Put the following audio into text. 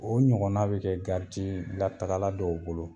O ɲɔgɔnna bɛ kɛ garidii latagala dɔw bolo.